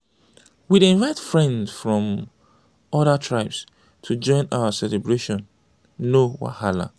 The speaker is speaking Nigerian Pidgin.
we dey invite friends from odir tribes to join our celebration no wahala.